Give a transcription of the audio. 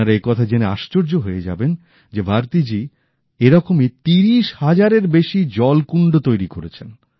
আপনারা একথা জেনে আশ্চর্য হয়ে যাবেন যে ভারতী জি এরকমই ৩০০০০ এর বেশি জল কুন্ড তৈরি করেছেন